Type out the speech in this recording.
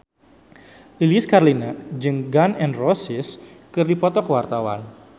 Lilis Karlina jeung Gun N Roses keur dipoto ku wartawan